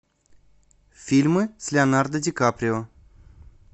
фильмы с леонардо ди каприо